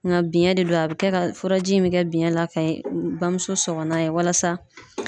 Nka biyɛn de don, a bɛ kɛ ka furaji min kɛ biɲɛ la ka bamuso sɔgɔlan ye walasa